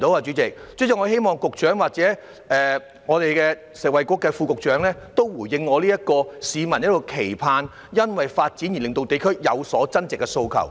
主席，我希望發展局局長或食衞局副局長回應市民的期盼，即藉發展而令地區有所增值的訴求。